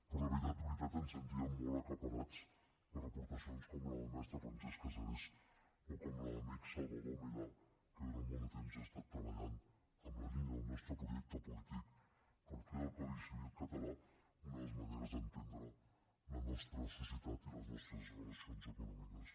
però de veritat de veritat ens sentíem molt aclaparats per aportacions com la del mestre francesc casares o com la de l’amic salvador milà que durant molt de temps ha estat treballant en la línia del nostre projecte polític per fer del codi civil català una de les maneres d’entendre la nostra societat i les nostres relacions econòmiques